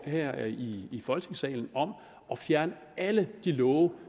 her i folketingssalen om at fjerne alle de love